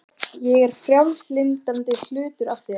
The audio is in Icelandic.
Ég er frjálslyndari hlutinn af þér.